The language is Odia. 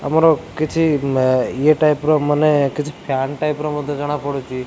ଆମର କିଛି ଇୟେ ଟାଇପର ମାନେ କିଛି ଫ୍ୟାନ ଟାଇପର ମଧ୍ୟ ଜଣା ପଡୁଛି।